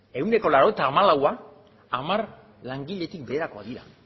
ehuneko laurogeita hamalaua hamar langiletik beherakoak dira